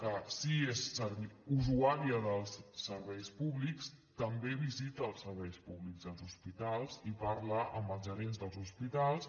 que sí és usuària dels serveis públics també visita els serveis públics dels hospitals i parla amb els gerents dels hospitals